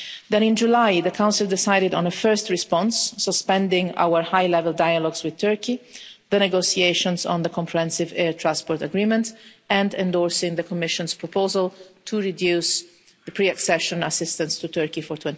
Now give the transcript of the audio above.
Then, in July the Council decided on a first response suspending our high level dialogues with Turkey, the negotiations on the Comprehensive Air Transport Agreement and endorsing the Commission's proposal to reduce the pre accession assistance to Turkey for